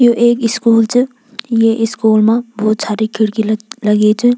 यु एक स्कूल च ये स्कूल मा भोत सारी खिड़की ल लगीं च।